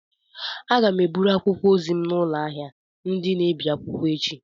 Aga m eburu akwụkwọ ozi m n'ụlọ ahịa ndị na-ebi akwụkwọ echi.